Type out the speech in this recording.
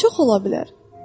Çox ola bilər.